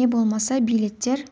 не болмаса билеттер